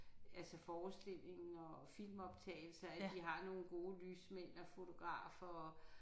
Altså forestillingen og filmoptagelser at de har nogle gode lysmænd og fotografer og